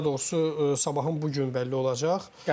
Daha doğrusu Sabahın bu gün bəlli olacaq.